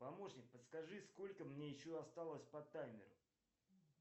помощник подскажи сколько мне еще осталось по таймеру